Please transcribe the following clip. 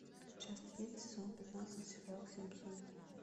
часть один сезон пятнадцать сериал симпсоны